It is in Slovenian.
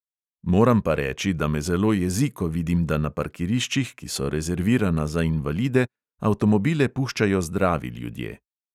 Moram pa reči, da me zelo jezi, ko vidim, da na parkiriščih, ki so rezervirana za invalide, avtomobile puščajo zdravi ljudje.